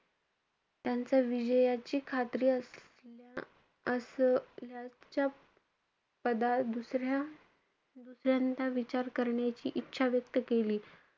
त्यांच्या विजयाची खात्री असलेल्या~ असल्याच्या पद दुसऱ्या~ दुसऱ्यांदा करण्याची इच्छा व्यक्त केली.